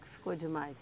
Que ficou demais?